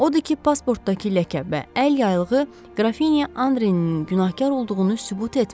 Odur ki, pasportdakı ləkə və əl yaylığı Qrafinya Andrenin günahkar olduğunu sübut etmir.